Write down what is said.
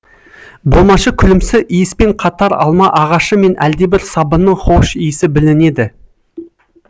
болмашы күлімсі иіспен қатар алма ағашы мен әлдебір сабынның хош иісі білінеді